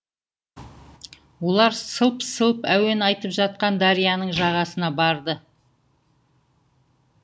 олар сылп сылп әуен айтып жатқан дарияның жағасына барды